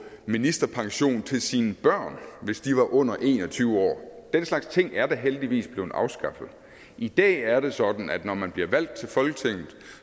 ministerpension til sine børn hvis de var under en og tyve år den slags ting er da heldigvis blevet afskaffet i dag er det sådan at man når man bliver valgt til folketinget